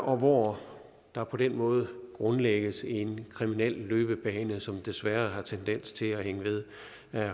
og hvor der på den måde grundlægges en kriminel løbebane som desværre har tendens til at hænge ved